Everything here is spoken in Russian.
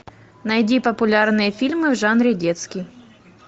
найди популярные фильмы в жанре детский